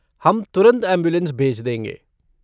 हम तुरंत ऐम्बुलेन्स भेज देंगे।